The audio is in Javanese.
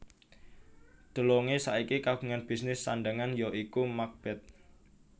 DeLonge saiki kagungan bisnis sandhangan ya iku Macbeth